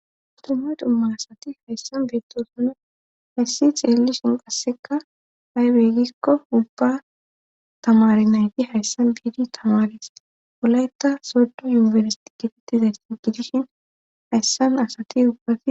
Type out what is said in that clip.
dumma dumma asati hayssam beettoosuna hayssi xeellishin qassekka haybeygikko ubba tamari nayti hayssam biidi tamaris wolaytta soddo yunibers diggitittizays si gidishin hayssam asati ubba